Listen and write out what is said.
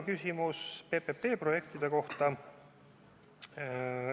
Küsimus oli ka PPP-projektide kohta.